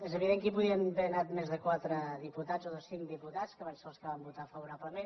és evident que hi podien haver anat més de quatre diputats o de cinc diputats que van ser els que hi van votar favorablement